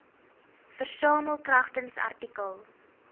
versamel kragtens artikel